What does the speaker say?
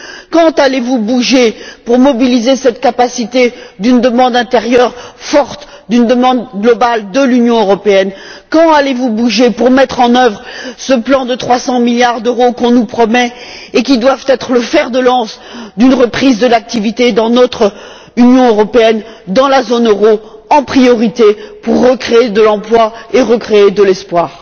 Quand allez vous bouger afin de mobiliser cette capacité d'une demande intérieure forte, d'une demande globale de l'Union européenne? Quand allez vous bouger afin de mettre en œuvre ce plan de 300 milliards d'euros qu'on nous promet et qui doit être le fer de lance d'une reprise de l'activité dans notre Union européenne, dans la zone euro, en priorité, pour recréer de l'emploi et recréer de l'espoir?